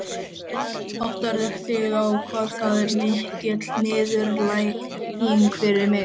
Áttarðu þig á hvað það er mikil niðurlæging fyrir mig?